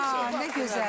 Ah, nə gözəl.